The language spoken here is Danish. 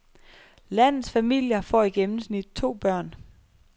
Landets familier får i gennemsnit to børn.